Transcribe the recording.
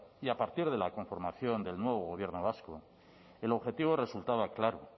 y a partir de la conformación del nuevo gobierno vasco el objetivo resultaba claro